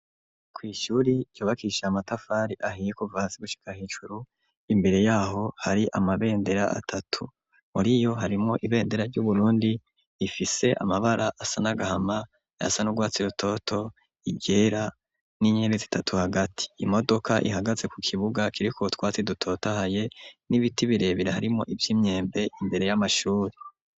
Kw'ishuri cyobakisha amatafari ahiyekuva hasi gushika hicuru imbere yaho hari amabendera atatu muri yo harimwo ibendera ry'uburundi ifise amabara asa n'agahama yasan'urwatsi rutoto igera n'inyei zitatu hagati imodoka ihagaze ku kibuga kiriko twatsi dutotahaye n'ibiti birebireharimo ivyo imyembe imbere y'amashuri.